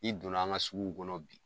N'i donna an ka sugu kɔnɔ bi